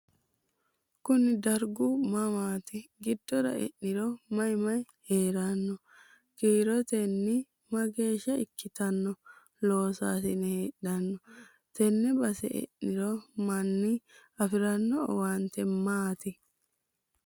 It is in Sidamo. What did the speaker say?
koni dargu mamaati? giddora e'niro mayi mayi heerranno? kiirottenni mageeshsha ikkitanno loosaasine heedhanno? tenne base eanno manni afiranno owaante maati?